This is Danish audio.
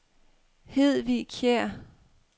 Hedvig Kjer